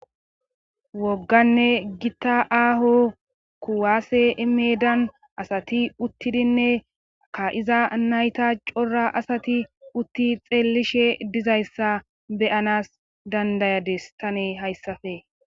wogganne gitta aaho kuwaase meedan asati uttidinne ka iza nayta cora asati utti xeellishe dizayssa beyanas dandayades tane hayssafe